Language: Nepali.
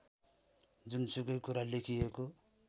जुनसुकै कुरा लेखिएको